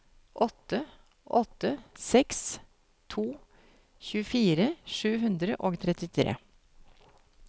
åtte åtte seks to tjuefire sju hundre og trettitre